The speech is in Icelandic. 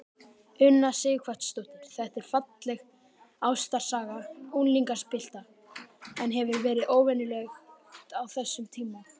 Una Sighvatsdóttir: Þetta er falleg ástarsaga unglingspilta, en hefur verið óvenjulegt á þessum tíma?